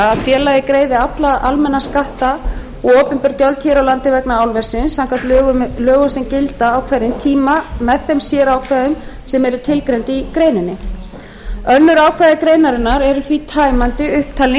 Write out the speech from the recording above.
að félagið greiði alla almenna skatta og opinber gjöld hér á landi vegna álversins samkvæmt lögum sem gilda á hverjum tíma með þeim sérákvæðum sem eru tilgreind í greininni önnur ákvæði greinarinnar eru því tæmandi upptalning